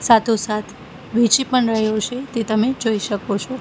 સાથોસાથ વેચી પણ રહ્યો છે તે તમે જોઈ શકો છો.